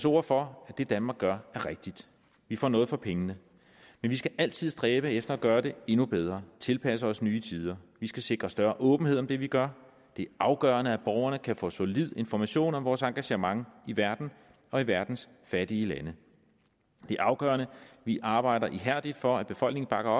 ord for at det danmark gør er rigtigt vi får noget for pengene men vi skal altid stræbe efter at gøre det endnu bedre og tilpasse os nye tider vi skal sikre større åbenhed om det vi gør det er afgørende at borgerne kan få solid information om vores engagement i verden og i verdens fattige lande det er afgørende at vi arbejder ihærdigt for at befolkningen bakker